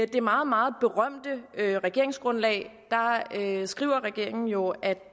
det meget meget berømte regeringsgrundlag skriver regeringen jo at